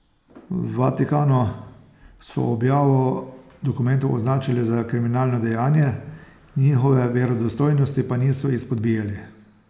V Vatikanu so objavo dokumentov označili za kriminalno dejanje, njihove verodostojnosti pa niso izpodbijali.